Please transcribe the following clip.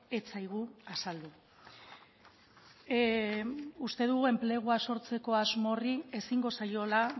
ez zaigu azaldu uste dugu enplegua sortzeko asmo horri ezingo zaiola